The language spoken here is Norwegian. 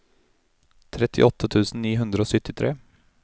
trettiåtte tusen ni hundre og syttitre